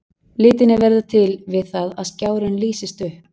Litirnir verða til við það að skjárinn lýsist upp.